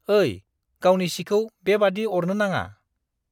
ओइ, गावनि सिखौ बेबादि अरनो नाङा।